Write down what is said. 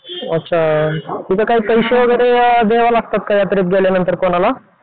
अच्छा तिथे काय पैसे वगैरे अ द्यायला लागतात का यात्रेत गेल्यानंतर कोणाला?